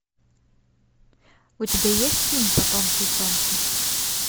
у тебя есть фильм потомки солнца